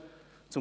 Sie wissen es.